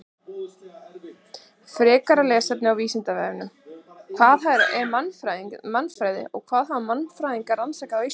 Frekara lesefni á Vísindavefnum: Hvað er mannfræði og hvað hafa mannfræðingar rannsakað á Íslandi?